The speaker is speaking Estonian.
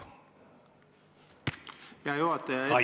Hea ettekandja!